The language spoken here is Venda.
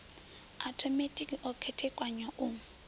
a othomethikhi o khethekanywa u